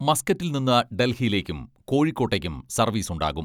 മസ്ക്കറ്റിൽ നിന്ന് ഡൽഹിയിലേയ്ക്കും കോഴിക്കോട്ടേയ്ക്കും സർവീസ് ഉണ്ടാകും.